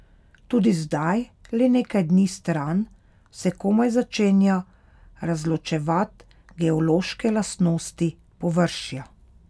Tudi zdaj, le nekaj dni stran, se komaj začenja razločevat geološke lastnosti površja.